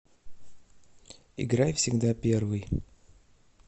играй всегда первый